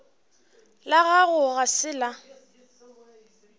la gago ga se la